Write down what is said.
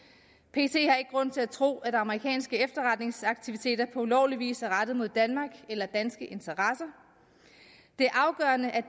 har ikke grund til at tro at amerikanske efterretningsaktiviteter på ulovlig vis er rettet mod danmark eller danske interesser det er afgørende at